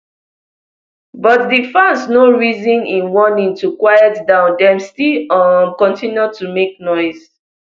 but di fans no reason im warning to quiet down dem still um continue to make noise